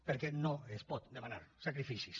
perquè no es poden demanar sacrificis